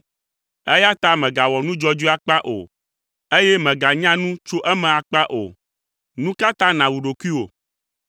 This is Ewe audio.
eya ta mègawɔ nu dzɔdzɔe akpa o eye mèganya nu tso eme akpa o. Nu ka ta nàwu ɖokuiwò?